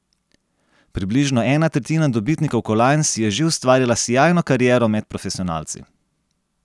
Približno ena tretjina dobitnikov kolajn si je že ustvarila sijajno kariero med profesionalci.